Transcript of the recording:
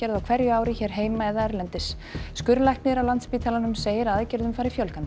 á hverju ári hér heima eða erlendis skurðlæknir á Landspítalanum segir að aðgerðum fari fjölgandi